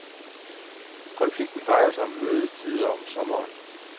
Konflikten drejer sig om mødetider om sommeren.